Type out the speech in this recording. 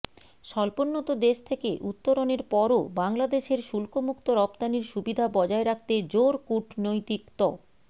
স্বল্পোন্নত দেশ থেকে উত্তরণের পরও বাংলাদেশের শুল্কমুক্ত রপ্তানির সুবিধা বজায় রাখতে জোর কূটনৈতিক ত